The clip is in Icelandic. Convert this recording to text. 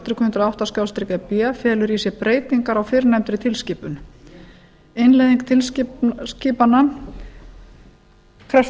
hundrað og átta e b felur í sér breytingar á fyrrnefndri tilskipun innleiðing tilskipananna krefst